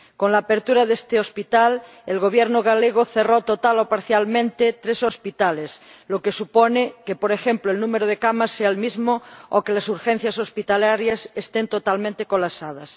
Con la apertura de este hospital, el Gobierno gallego cerró total o parcialmente tres hospitales, lo que supone que, por ejemplo, el número de camas sea el mismo o que las urgencias hospitalarias estén totalmente colapsadas.